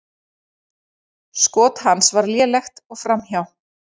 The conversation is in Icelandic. Skot hans var lélegt og framhjá.